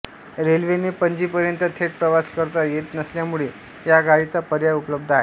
रेल्वेने पणजीपर्यंत थेट प्रवास करता येत नसल्यामुळे या गाडीचा पर्याय उपलब्ध आहे